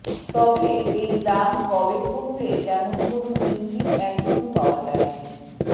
তবে এই দাম কবে কমবে তেমন কোনও ইঙ্গিত এখনও পাওয়া যায়নি